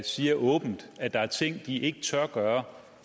siger åbent at der er ting de ikke tør gøre